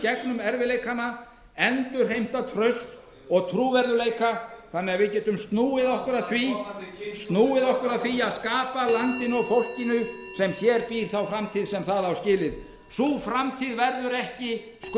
gegnum þetta endurheimti traust og trúverðugleika og við getum farið snúa okkur að því að skapa landinu og fólkinu sem hér býr þá framtíð sem það á skilið virðulegi forseti ég legg svo til að málinu verði